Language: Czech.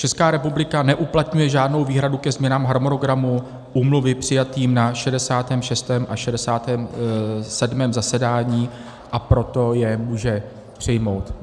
Česká republika neuplatňuje žádnou výhradu ke změnám harmonogramu úmluvy, přijatým na 66. a 67. zasedání, a proto je může přijmout.